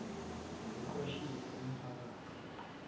nokuqwashisa umpha kathi